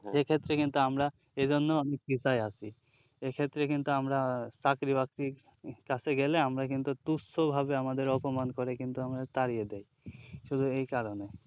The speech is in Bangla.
যেক্ষেত্রে কিন্তু আমরা এজন্য আমি কৃতায় আছি এক্ষেত্রে কিন্তু আমরা চাকরি বাকরির কাছে গেলে আমরা কিন্তু তুচ্ছ ভাবে আমাদের অপমান করে কিন্তু আমাদের তাড়িয়ে দেয় শুধু এই কারণে